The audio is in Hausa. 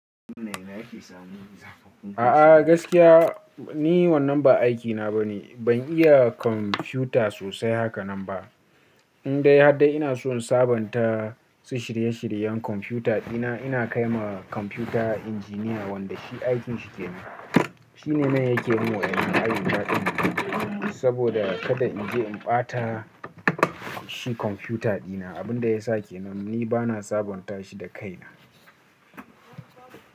A'a gaskiya ni wannan ba aikina ba ne, ban iya kwamfuta sosai haka nan ba. In dai har da ina so in sabonta su shirye-shiryen kwamfuta dina ina kai ma kwamfuta injiniya wanda shi aikin shi ke nan. Shi ne mai yake min waɗannan ayyuka ɗin saboda kada in je in ɓata shi kwamfuta dina. Abin da ya sake nan ni bana sabonta shi da kaina.